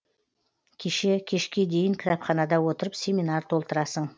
кеше кешке дейін кітапханада отырып семинар толтырасың